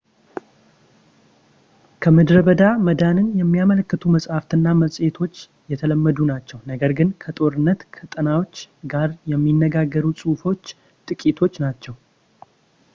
ከምድረ በዳ መዳንን የሚያመለክቱ መጻሕፍት እና መጽሔቶች የተለመዱ ናቸው ፣ ነገር ግን ከጦርነት ቀጠናዎች ጋር የሚነጋገሩ ጽሑፎች ጥቂቶች ናቸው